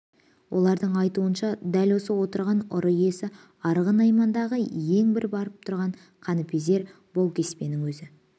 олардың айтуынша дәл осы отырған ұры иесі арғын наймандағы ең бір барып тұрған қаныпезер баукеспенің өзі